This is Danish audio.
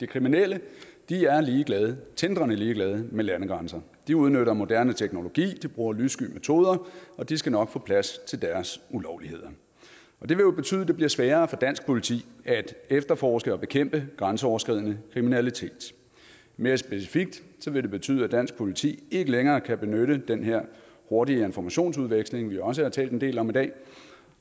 kriminelle er ligeglade tindrende ligeglade med landegrænser de udnytter moderne teknologi de bruger lyssky metoder og de skal nok få plads til deres ulovligheder det vil betyde at det bliver sværere for dansk politi at efterforske og bekæmpe grænseoverskridende kriminalitet mere specifikt vil det betyde at dansk politi ikke længere kan benytte den her hurtige informationsudveksling vi også har talt en del om i dag